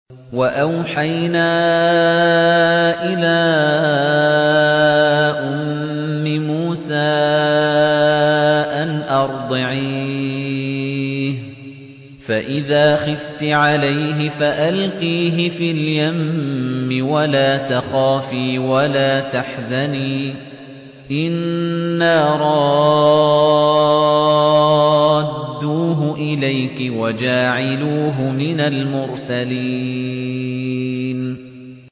وَأَوْحَيْنَا إِلَىٰ أُمِّ مُوسَىٰ أَنْ أَرْضِعِيهِ ۖ فَإِذَا خِفْتِ عَلَيْهِ فَأَلْقِيهِ فِي الْيَمِّ وَلَا تَخَافِي وَلَا تَحْزَنِي ۖ إِنَّا رَادُّوهُ إِلَيْكِ وَجَاعِلُوهُ مِنَ الْمُرْسَلِينَ